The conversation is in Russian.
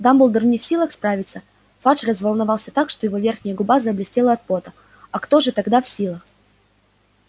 дамблдор не в силах справиться фадж разволновался так что его верхняя губа заблестела от пота а кто же тогда в силах